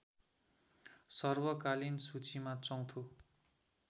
सर्वकालीन सूचीमा चौथो